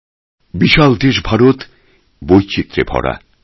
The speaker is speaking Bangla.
বিপুল দেশ ভারতে বৈচিত্র্যে ভরা রয়েছে